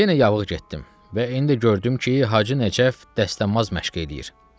Yenə yavığı getdim və indi gördüm ki, Hacı Nəcəf dəstəmaz məşq eləyir.